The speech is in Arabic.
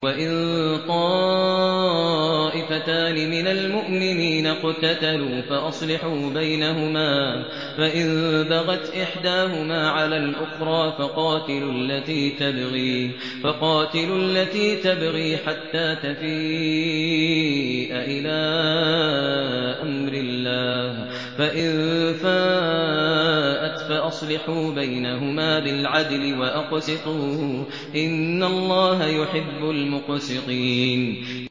وَإِن طَائِفَتَانِ مِنَ الْمُؤْمِنِينَ اقْتَتَلُوا فَأَصْلِحُوا بَيْنَهُمَا ۖ فَإِن بَغَتْ إِحْدَاهُمَا عَلَى الْأُخْرَىٰ فَقَاتِلُوا الَّتِي تَبْغِي حَتَّىٰ تَفِيءَ إِلَىٰ أَمْرِ اللَّهِ ۚ فَإِن فَاءَتْ فَأَصْلِحُوا بَيْنَهُمَا بِالْعَدْلِ وَأَقْسِطُوا ۖ إِنَّ اللَّهَ يُحِبُّ الْمُقْسِطِينَ